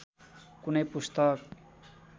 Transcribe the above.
कुनै पुस्तक